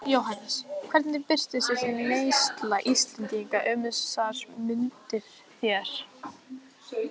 Jóhannes: Hvernig birtist þessi neysla Íslendinga um þessar mundir þér?